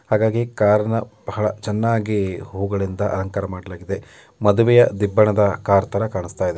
ಹಾಗಾಗಿ ಕಾರ್ ನಾ ಭಾಳ ಚನ್ನಾಗಿ ಹೂಗಳಿಂದ ಅಲಂಕಾರ ಮಾಡಲಾಗಿದೆ. ಮದುವೆಯ ದಿಬ್ಬಣದ ಕಾರ್ ತರ ಕಾಂಸ್ತಾಯಿದೆ.